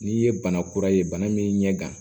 N'i ye bana kura ye bana min ɲɛ kan